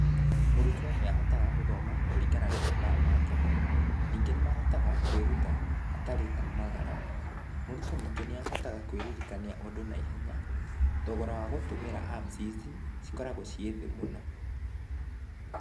Mũrutwo nĩahotaga gũthoma kũringana na mathaa make, ningĩ nĩ mahotaga kwĩruta hatarĩ kumagara , mũrutwo ningĩ nĩahotaga kwĩririkania ũndũ na ihenya, thogora wa gũtũmĩra Apps ici cikoragwo ciĩthĩ mũno.